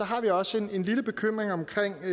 har vi også en lille bekymring i